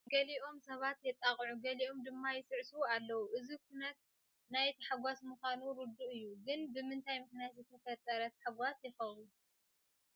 ገሊኦም ሰባት የጣቅዑ ገሊኦም ድማ ይስዕስዑ ኣለዉ፡፡ እዚ ኩነት ናይ ተሓጓስ ምዃኑ ርዱእ እዩ፡፡ ግን ብምንታይ ምኽንያት ዝተፈጠረ ተሓጓስ ይኸውን?